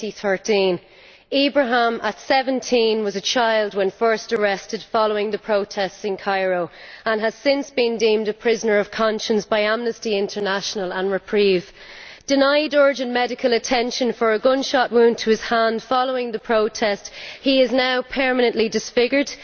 2013. Ibrahim, at 17, was a child when first arrested following the protests in Cairo and has since been deemed a prisoner of conscience by Amnesty International and Reprieve. Denied urgent medical attention for a gunshot wound to his hand following the protest, he is now permanently disfigured.